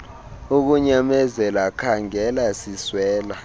ukunyamezela khaangela siswela